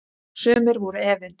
Sumir voru efins.